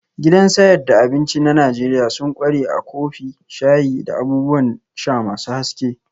Gidan sayad da abinci na Najeriya sun ƙware a kofi, shayi, da abubuwan sha masu haske